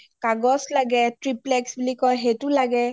কাগছ লাগে triplex বুলি কই সেইটো লাগে